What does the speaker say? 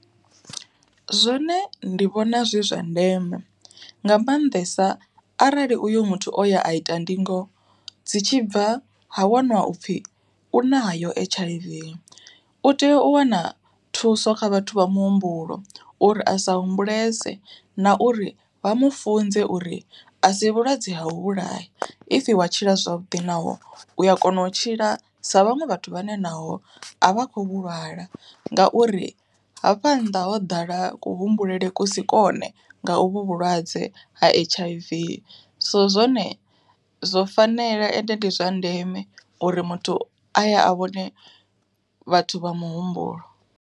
Zwone ndi vhona zwi zwa ndeme, nga maanḓesa arali uyo muthu o ya a ita ndingo, dzi tshi bva ha waṅwa upfhi u nayo H_I_V. U tea u wana thuso kha vhathu vha muhumbulo uri a sa humbulese na uri vha mufunze uri a si vhulwadze ha vhulaya, if wa tshila zwavhuḓi naho u ya kona u tshila sa vhaṅwe vhathu vhane naho a vha khou lwala ngauri hafha nnḓa ho ḓala ku humbulele kusi kone nga u vhu vhulwadze ha H_I_V. So zwone zwo fanela ende ndi zwa ndeme, uri muthu aye a vhone vhathu vha muhumbulo.